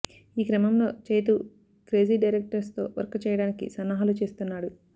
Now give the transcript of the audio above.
ఈ క్రమంలో Chaitu crazy directors తో వర్క్ చేయడానికి సన్నాహాలు చేస్తున్నాడు